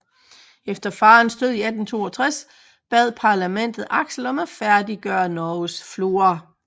Efter farens død i 1862 bad Parlamentet Axel om at færdiggøre Norges Flora